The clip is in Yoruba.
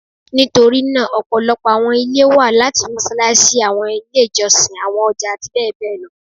Nitorinaa ọpọlọpọ awọn ile wa lati Mossalassi, awọn ile ijọsin, awọn ọja ati bẹbẹ lọ